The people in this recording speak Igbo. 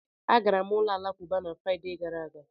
Agara m ụlọ alakụba na Fraịde gara aga.